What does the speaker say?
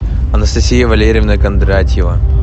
анастасия валерьевна кондратьева